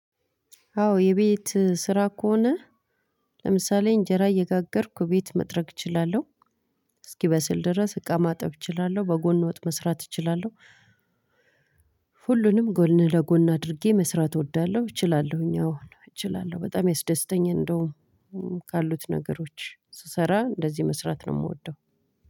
አዎ የቤት ስራ ከሆነ ለምሳሌ እንጀራ እየጋገርኩ ቤት መጥረግ እችላለሁ። እስኪበስል ድረስ እቃ ማጠብ እችላለሁ በጎን ወጥ መስራት እችላለሁ። ሁሉንም ጎን ለጎን አድርጌ መስራት እወዳለሁ እችላለሁኝ አዎ እችላለሁ በጣም ያስደስተኛል። እንደውም ካሉት ነገሮች ስሰራ እንደዚህ መስራት ነው የምወደው።